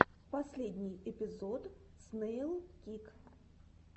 последний эпизод снэйлкик